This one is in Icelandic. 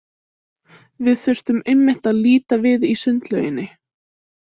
Við þurftum einmitt að líta við í sundlauginni.